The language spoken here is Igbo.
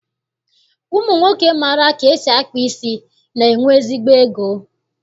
Ụmụnwoke maara ka esi akpa isi, na-enwe ezigbo ego